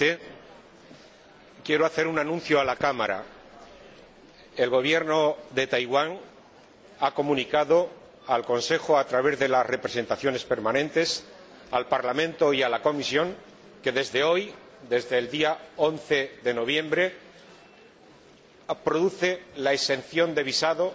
Señor Presidente, quiero hacer un anuncio a la Cámara. El Gobierno de Taiwán ha comunicado al Consejo, a través de las representaciones permanentes, al Parlamento y a la Comisión que, desde hoy, desde el día 11 de noviembre, procede a la exención de visado